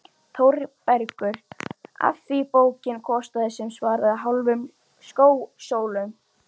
ÞÓRBERGUR: Af því bókin kostaði sem svaraði hálfum skósólum.